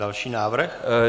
Další návrh?